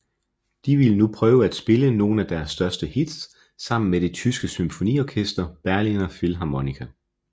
De ville nu prøve at spille nogen af deres største hits sammen med det tyske symfoniorkester Berliner Philharmoniker